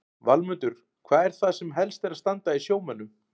Valmundur, hvað er það sem helst er að standa í sjómönnum?